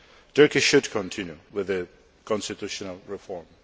Turkey should continue with the constitutional reform.